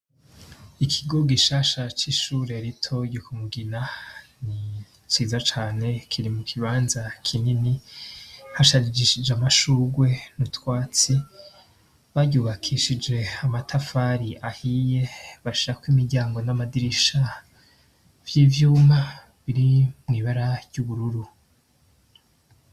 Ikigo gisha shaca ishureritoyikumugina ni ciza cane kiri mu kibanza kinyeni hashajishije amashugwe niutwatsi baryubakishije amatafari ahiye bashako imiryango n'amadirisha vy'ivyuma biri mwibara ry'ubururu.